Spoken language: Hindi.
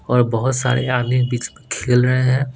और बहुत सारे खेल रहे है।